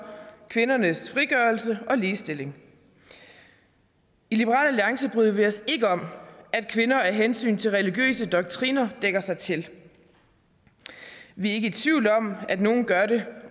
kvindernes frigørelse og ligestilling i liberal alliance bryder vi os ikke om at kvinder af hensyn til religiøse doktriner dækker sig til vi er ikke i tvivl om at nogen gør det